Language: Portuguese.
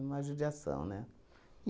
Uma judiação, né?